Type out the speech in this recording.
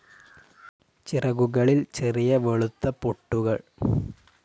ചിറകുകളിൽ ചെറിയ വെളുത്ത പൊട്ടുകൾ.